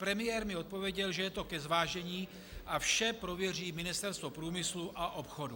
Premiér mi odpověděl, že je to ke zvážení a vše prověří Ministerstvo průmyslu a obchodu.